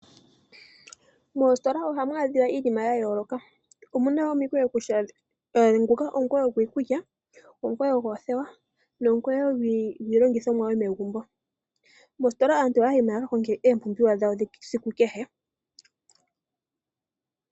Moositola ohamu adhiwa iinima yayooloka omuna omikweyo kusha nguka omukweyo gwiikulya, omukweyo goothewa nomukweyo gwiilongithomwa yomegumbo. Mositola aantu ohaya yimo yakakonge ompumbiwa dhesiku keshe.